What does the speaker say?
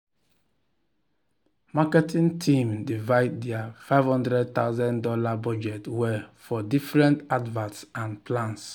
marketing team divide their fifty thousand dollars0 budget well for different adverts and plans